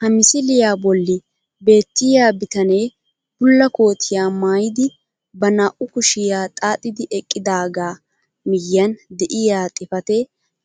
Ha misiliyaa bolli beettiyaa bitanee bulla kootiyaa maayidi ba naa"u kushiyaa xaaxidi eqqidaagaa miyiyaan de'iyaa xifatee